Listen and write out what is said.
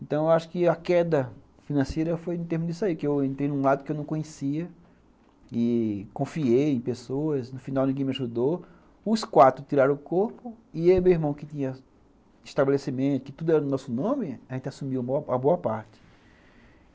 Então eu acho que a queda financeira foi em termos disso aí, que eu entrei num lado que eu não conhecia e confiei em pessoas, no final ninguém me ajudou, os quatro tiraram o corpo e aí meu irmão que tinha estabelecimento, que tudo era no nosso nome, a gente assumiu a boa parte.